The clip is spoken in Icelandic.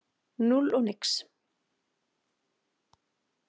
Núll og nix.